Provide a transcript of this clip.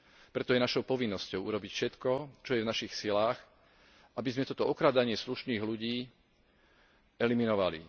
Preto je našou povinnosťou urobiť všetko, čo je v našich silách, aby sme toto okrádanie slušných ľudí eliminovali.